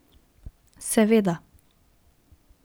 Seveda.